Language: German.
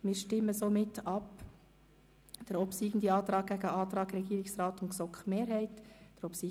Wir stellen jetzt den obsiegenden Antrag dem Antrag Regierungsrat und GSoK-Mehrheit gegenüber.